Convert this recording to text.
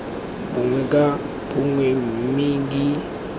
bongwe ka bongwe mme di